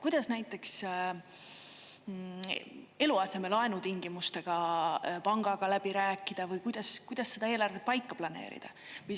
Kuidas näiteks eluasemelaenu tingimusi pangaga läbi rääkida või kuidas seda eelarvet paika planeerida?